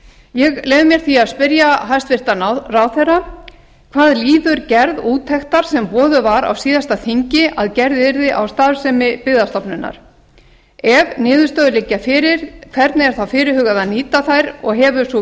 ég leyfi mér því að spyrja hæstvirtan ráðherra fyrstu hvað líður gerð úttektar sem boðuð var á síðasta þingi að gerð yrði á starfsemi byggðastofnunar annað ef niðurstöður liggja fyrir hvernig er þá fyrirhugað að nýta þær og hefur sú